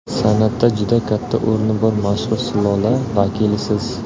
San’atda juda katta o‘rni bor mashhur sulola vakilisiz.